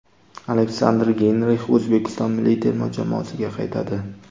Aleksandr Geynrix O‘zbekiston milliy terma jamoasiga qaytadi.